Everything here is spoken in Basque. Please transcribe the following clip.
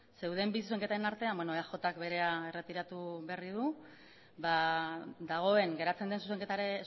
zeuden bi zuzenketen artean beno eaj k berea erretiratu berri du ba dagoen geratzen den